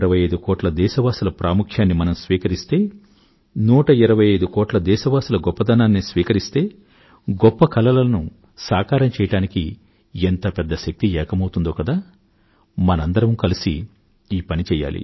125కోట్ల దేశవాసుల ప్రాముఖ్యాన్ని మనం స్వీకరిస్తే 125 కోట్ల దేశవాసుల గొప్పదనాన్నీ స్వీకరిస్తే గొప్ప కలలను సాకారం చేయడానికి ఎంత పెద్ద శక్తి ఏకమౌతుందో కదా మనందరమూ కలిసి ఈ పని చెయ్యాలి